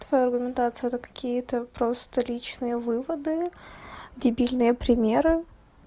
твоя аргументация это какие-то просто личные выводы дебильные примеры